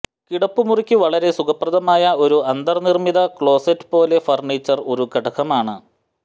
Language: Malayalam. കിടപ്പുമുറിക്ക് വളരെ സുഖപ്രദമായ ഒരു അന്തർനിർമ്മിത ക്ലോസറ്റ് പോലെ ഫർണിച്ചർ ഒരു ഘടകമാണ്